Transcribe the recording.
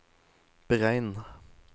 beregn